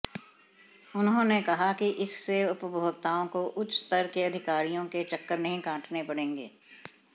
उन्होंने कहा कि इससे उपभोक्ताओं को उच्च स्तर के अधिकारियों के चक्कर नहीं काटने पड़ेंगे